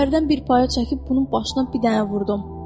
Səfərdən bir paya çəkib bunun başına bir dənə vurdum.